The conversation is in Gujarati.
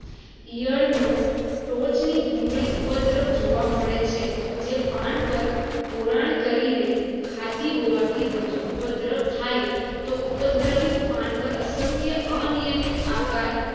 ઈયળ નો તોંચ ની ભૂંગળી ઉપદ્ર જોવા મળે છે જે પણ પર ખોરણ કરીને ખાતી હોવાથી વધુ ઉપદ્ર થાય તો ઉપદ્રવિત પણ પર અસંખ્ય અનિયમિત આકાર